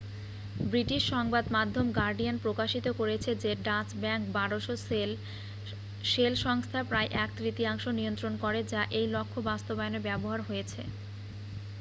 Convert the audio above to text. British সংবাদমাধ্যম Guardian প্রকাশিত করেছে যে ডাচ ব্যাঙ্ক 1200 শেল সংস্থার প্রায় এক তৃতীয়াংশ নিয়ন্ত্রণ করে যা এই লক্ষ্য বাস্তবায়নে ব্যবহার হয়েছে